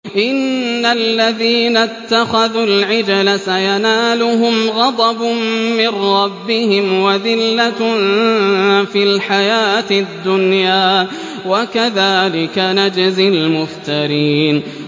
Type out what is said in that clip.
إِنَّ الَّذِينَ اتَّخَذُوا الْعِجْلَ سَيَنَالُهُمْ غَضَبٌ مِّن رَّبِّهِمْ وَذِلَّةٌ فِي الْحَيَاةِ الدُّنْيَا ۚ وَكَذَٰلِكَ نَجْزِي الْمُفْتَرِينَ